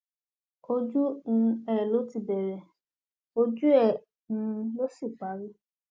ojú um ẹ ló bẹrẹ ojú ẹ um ló sì parí